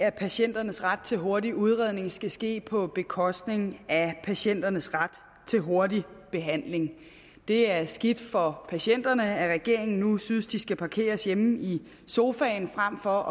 at patienternes ret til hurtig udredning skal ske på bekostning af patienternes ret til hurtig behandling det er skidt for patienterne at regeringen nu synes at de skal parkeres hjemme i sofaen frem for at